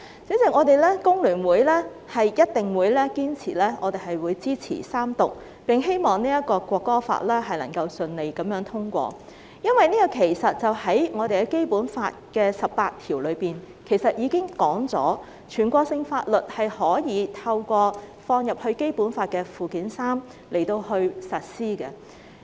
主席，香港工會聯合會一定會堅決支持《條例草案》三讀，並希望《條例草案》可順利通過。因為《基本法》第十八條已經訂明，全國性法律可透過納入《基本法》附件三實施。